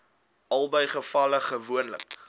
albei gevalle gewoonlik